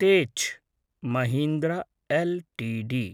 Tech Mahindra LTD